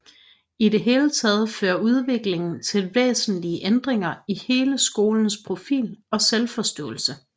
I det hele taget førte udviklingen til væsentlige ændringer i hele skolens profil og selvforståelse